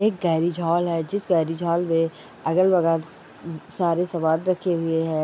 एक गाड़ी झाल है जिस गाड़ी झाल में अगल बगल सारे सामान रखे हुवे हैं।